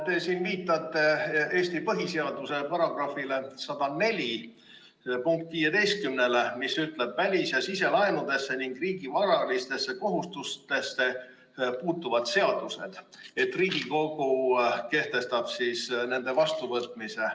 Te siin viitate Eesti põhiseaduse § 104 punktile 15, mis ütleb, et Riigikogu kehtestab välis‑ ja siselaenudesse ning riigi varalistesse kohustustesse puutuvate seaduste vastuvõtmise.